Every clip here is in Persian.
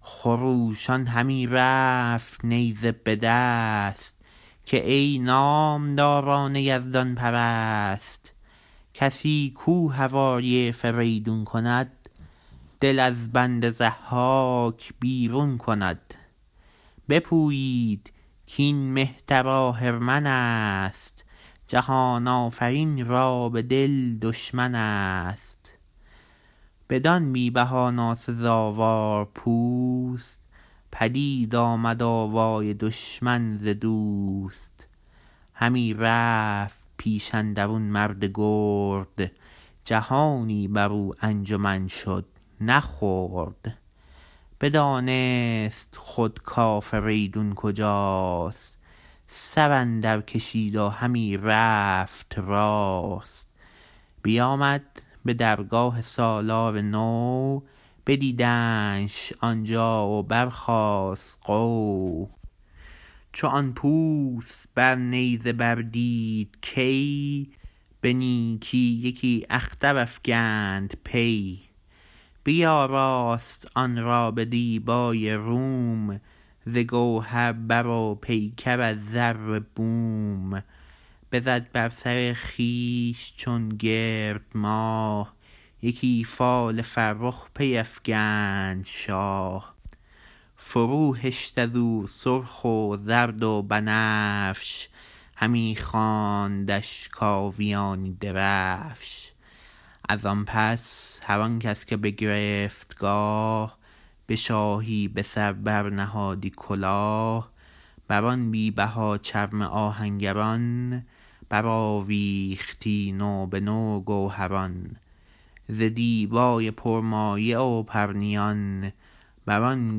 خروشان همی رفت نیزه به دست که ای نامداران یزدان پرست کسی کاو هوای فریدون کند دل از بند ضحاک بیرون کند بپویید کاین مهتر آهرمن است جهان آفرین را به دل دشمن است بدان بی بها ناسزاوار پوست پدید آمد آوای دشمن ز دوست همی رفت پیش اندرون مرد گرد جهانی برو انجمن شد نه خرد بدانست خود کافریدون کجاست سر اندر کشید و همی رفت راست بیامد به درگاه سالار نو بدیدندش آن جا و برخاست غو چو آن پوست بر نیزه بر دید کی به نیکی یکی اختر افگند پی بیاراست آن را به دیبای روم ز گوهر بر و پیکر از زر بوم بزد بر سر خویش چون گرد ماه یکی فال فرخ پی افکند شاه فرو هشت ازو سرخ و زرد و بنفش همی خواندش کاویانی درفش از آن پس هر آن کس که بگرفت گاه به شاهی به سر بر نهادی کلاه بر آن بی بها چرم آهنگران برآویختی نو به نو گوهران ز دیبای پرمایه و پرنیان بر آن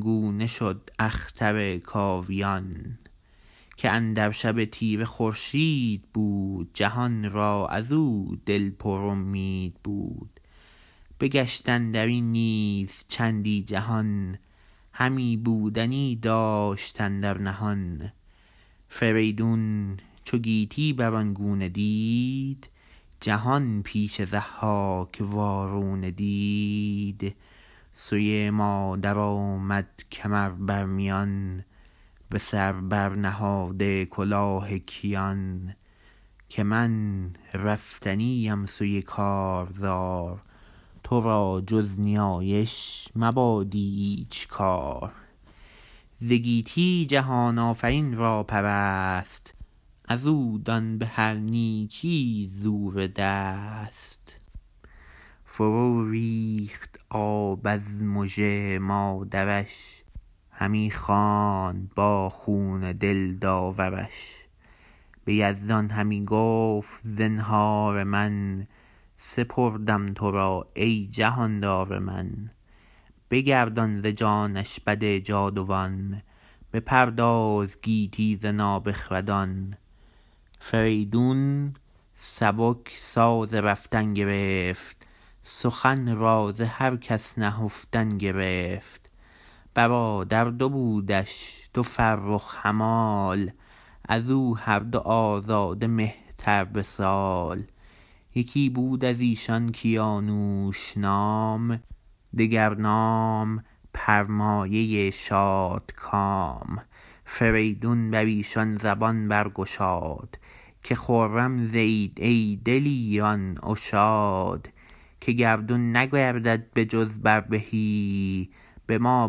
گونه شد اختر کاویان که اندر شب تیره خورشید بود جهان را ازو دل پر امید بود بگشت اندرین نیز چندی جهان همی بودنی داشت اندر نهان فریدون چو گیتی بر آن گونه دید جهان پیش ضحاک وارونه دید سوی مادر آمد کمر بر میان به سر بر نهاده کلاه کیان که من رفتنی ام سوی کارزار تو را جز نیایش مباد ایچ کار ز گیتی جهان آفرین را پرست ازو دان بهر نیکی زور دست فرو ریخت آب از مژه مادرش همی خواند با خون دل داورش به یزدان همی گفت زنهار من سپردم تو را ای جهاندار من بگردان ز جانش بد جاودان بپرداز گیتی ز نابخردان فریدون سبک ساز رفتن گرفت سخن را ز هر کس نهفتن گرفت برادر دو بودش دو فرخ همال ازو هر دو آزاده مهتر به سال یکی بود ازیشان کیانوش نام دگر نام پرمایه شادکام فریدون بریشان زبان برگشاد که خرم زیید ای دلیران و شاد که گردون نگردد به جز بر بهی به ما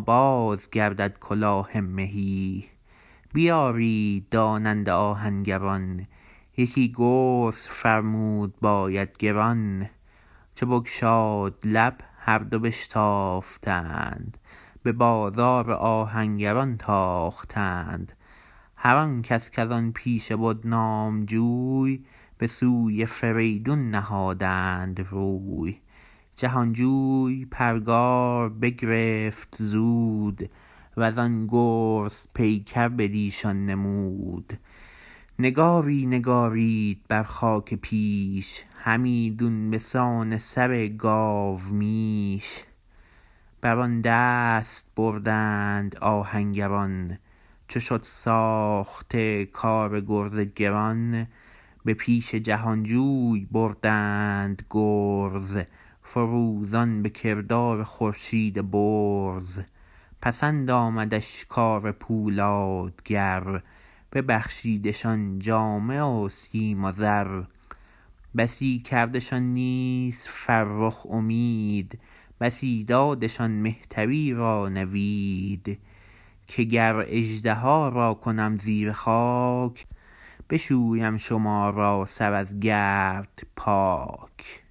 بازگردد کلاه مهی بیارید داننده آهنگران یکی گرز فرمود باید گران چو بگشاد لب هر دو بشتافتند به بازار آهنگران تاختند هر آن کس کز آن پیشه بد نام جوی به سوی فریدون نهادند روی جهان جوی پرگار بگرفت زود وزان گرز پیکر بٕدیشان نمود نگاری نگارید بر خاک پیش همیدون به سان سر گاومیش بر آن دست بردند آهنگران چو شد ساخته کار گرز گران به پیش جهان جوی بردند گرز فروزان به کردار خورشید برز پسند آمدش کار پولادگر ببخشیدشان جامه و سیم و زر بسی کردشان نیز فرخ امید بسی دادشان مهتری را نوید که گر اژدها را کنم زیر خاک بشویم شما را سر از گرد پاک